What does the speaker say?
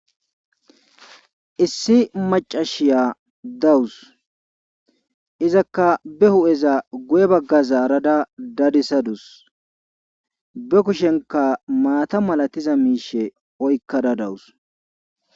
Issi maccasiya dawus izakka be huupheza guye baggara zaarada dedisadus be kushenkk maaata malatiza miishe oykkada dawus.